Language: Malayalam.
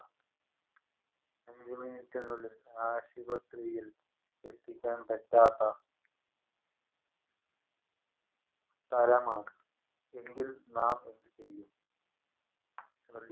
അഞ്ച് minute നുള്ളിൽ ആശുപത്രിത്തിൽ എത്തിക്കാൻ പറ്റാത്ത സ്ഥലമാണ് എങ്കിൽ നാം എന്തുചെയ്യും